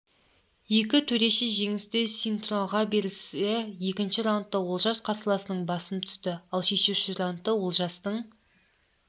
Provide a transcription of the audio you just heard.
екі төреші жеңісті синтроға берсе екінші раундта олжас қарсыласының басым түсті ал шешуші раундта олжастың